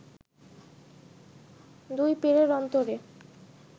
দুই পীরের অন্তরে